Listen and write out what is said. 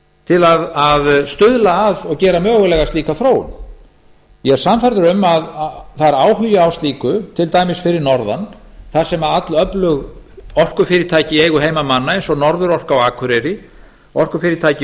til að stuðla að og gera mögulega slíka þróun ég er sannfærður um að það er áhugi á slíku til dæmis fyrir norðan þar sem allöflug orkufyrirtæki í eigu heimamanna eins og norðurorka á akureyri orkufyrirtæki